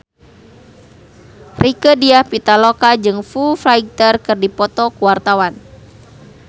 Rieke Diah Pitaloka jeung Foo Fighter keur dipoto ku wartawan